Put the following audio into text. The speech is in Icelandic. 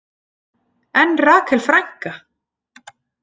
En Rakel frænka?